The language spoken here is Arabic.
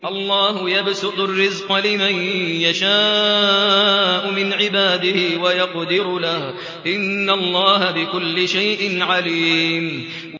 اللَّهُ يَبْسُطُ الرِّزْقَ لِمَن يَشَاءُ مِنْ عِبَادِهِ وَيَقْدِرُ لَهُ ۚ إِنَّ اللَّهَ بِكُلِّ شَيْءٍ عَلِيمٌ